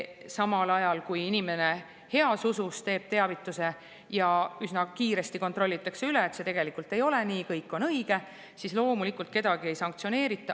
Samal ajal, kui inimene heas usus teeb teavituse ja üsna kiiresti kontrollitakse üle, et see tegelikult ei ole nii, kõik on õige, siis loomulikult kedagi ei sanktsioneerita.